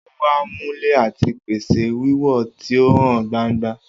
O wa mule ati pese wiwo ti o han gbangba.